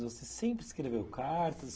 Você sempre escreveu cartas?